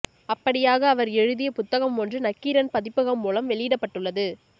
அப்படியாக அவர் எழுதிய புத்தகம் ஒன்று நக்கீரன் பதிப்பகம் மூலம் வெளியிடப்பட்டுள்ளது